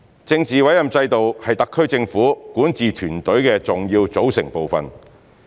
政治委任制度是特區政府管治團隊的重要組成部分。